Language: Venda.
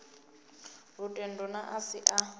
lutendo na a si a